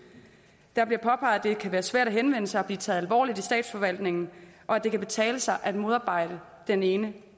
der bliver påpeget at det kan være svært at henvende sig og blive taget alvorligt i statsforvaltningen og at det kan betale sig at modarbejde den ene